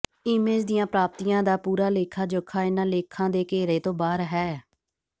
image ਦੀਆਂ ਪ੍ਰਾਪਤੀਆਂ ਦਾ ਪੂਰਾ ਲੇਖਾ ਜੋਖਾ ਇਹਨਾਂ ਲੇਖਾਂ ਦੇ ਘੇਰੇ ਤੋਂ ਬਾਹਰ ਹੈ